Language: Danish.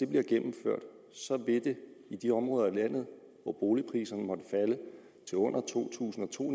bliver gennemført vil det i de områder af landet hvor boligpriserne måtte falde til under to tusind og to